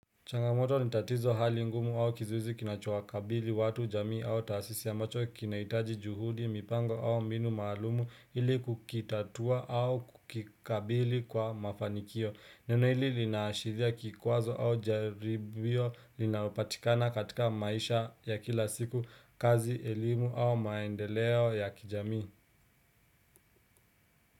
Changamoto nitatizo hali ngumu au kizuizi kinacho wakabili watu jamii au tasisi ya ambacho kinaitaji juhudi, mipango au mbinu maalumu ili kukitatua au kukikabili kwa mafanikio. Neno hili linaashiria kikwazo au jaribio linaopatikana katika maisha ya kila siku, kazi, elimu au maendeleo ya kijamii.